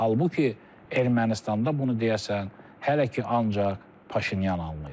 Halbuki Ermənistanda bunu deyəsən hələ ki ancaq Paşinyan anlayır.